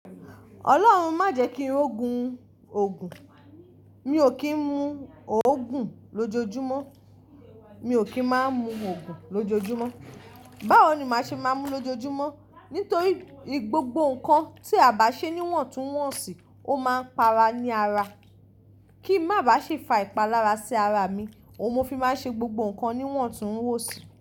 Ọlọ́run má jẹ kí ri ó gun Ògùn, mi ò kín mú Ògùn lójoójúmọ́, mi ò kín má mú Ògùn lójoójúmọ́. Báwo ni màá ṣe má mú lójoójúmọ́? Nítorí gbogbo nnkan tía bá ṣe ni iwọ̀n tún wọ̀n sì, ó máa ń para ní ara. Kín má bá ṣi fa ìpalára sí ara mi, òun mo fi máa ń ṣe gbogbo nnkan ní wọ̀n tún wọ̀n sì.